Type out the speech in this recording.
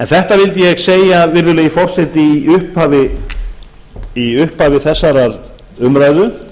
þetta vildi ég segja virðulegi forseti í upphafi þessarar umræðu